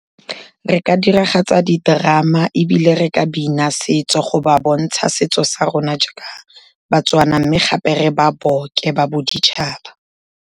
Re ka diragatsa di-drama ebile re ka bina setso go ba bontsha setso sa rona jaaka baTswana, mme gape re ba boke ba boditšhaba.